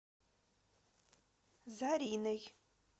зариной